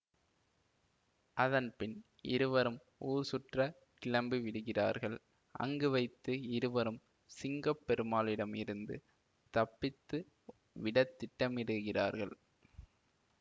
அதன்பின் இருவரும் ஊர் சுற்ற கிளம்பி விடுகிறார்கள் அங்கு வைத்து இருவரும் சிங்கம் பெருமாளிடம் இருந்து தப்பித்து விட திட்டமிடுகிறார்கள்